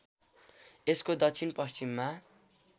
यसको दक्षिण पश्चिममा